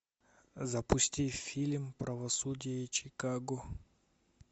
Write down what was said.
запусти фильм правосудие чикаго